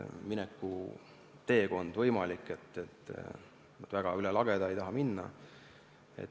Nad üle lageda väga ei taha minna.